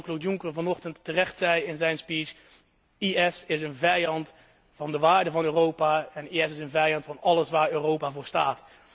Zoals Jean Claude Juncker vanochtend terecht zei in zijn speech IS is een vijand van de waarden van Europa en IS is een vijand van alles waar Europa voor staat.